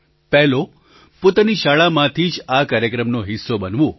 પહેલો પોતાની શાળામાંથી જ આ કાર્યક્રમનો હિસ્સો બનવું